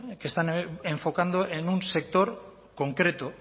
que están enfocando en un sector concreto